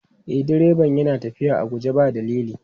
E, direban yana tafiya a guje ba dalili.